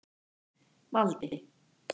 Valdi